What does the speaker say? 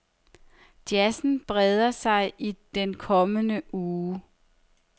Jazzen breder sig i den kommende uge.